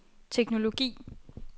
teknologi